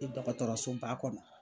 E dɔgɔtɔrɔso ba kɔnɔ.